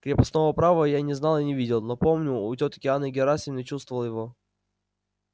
крепостного права я не знал и не видел но помню у тётки анны герасимны чувствовал его